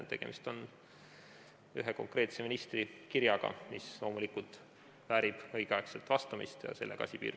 Tegemist on ühe konkreetse ministri kirjaga, mis loomulikult väärib õigel ajal vastamist ja sellega asi piirdub.